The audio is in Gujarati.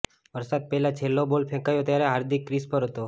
વરસાદ પહેલા છેલ્લો બોલ ફેંકાયો ત્યારે હાર્દિક ક્રીઝ પર હતો